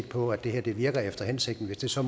på at det her virker efter hensigten hvis så